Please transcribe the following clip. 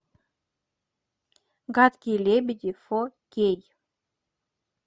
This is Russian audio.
гадкие лебеди фо кей